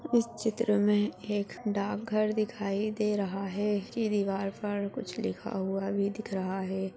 इस चित्र मे एक डाक घर दिखाई दे रहा है इसकी दीवार पर कुछ लिखा हुआ भी दिख रहा है ।